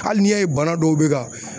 Hali n'i y'a ye bana dɔw bɛ ka